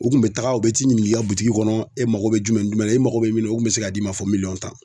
U kun be taga u be t'i ɲiniŋ'i ka kɔnɔ e mago be jumɛn ni jumɛn na e mago be min na o kun be se k'a d'i ma fo miliyɔn tan.